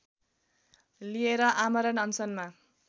लिएर आमरण अनसनमा